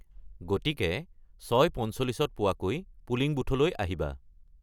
গতিকে ৬:৪৫-ত পোৱাকৈ পুলিং বুথলৈ আহিবা।